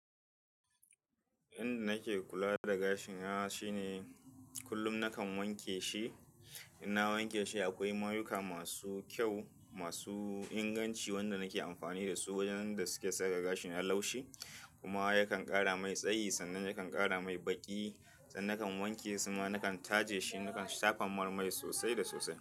Yanda nake kula da gashi na shine kullum nakan wanke shi. In na wanke shi akwai mayuka masu kyau, masu inganci wanda nake amfani da su wajen da suke saka gashi na laushi kuma yakan ƙara mai tsayi sannan yakan ƙara mai baƙi. Sannan nakan wanke shi kuma nakan taje shi nakan shafa mar mai sosai da sosai.